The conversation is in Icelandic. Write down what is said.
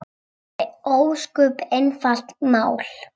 Það er ósköp einfalt mál.